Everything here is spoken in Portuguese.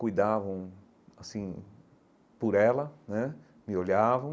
cuidavam assim por ela né, me olhavam.